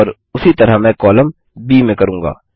और उसी तरह मैं कॉलम ब में करूँगा